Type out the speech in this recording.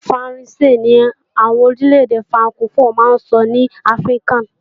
Faransé ni àwọn orílẹ̀-èdè frankofó máa ń sọ ní Áfríkà